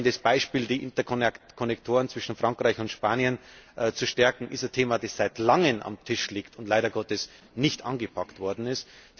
Alleine das Beispiel, die Interkonnektoren zwischen Frankreich und Spanien zu stärken, ist ein Thema, das seit langem auf dem Tisch liegt und leider Gottes nicht angepackt worden ist.